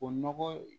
O nɔgɔ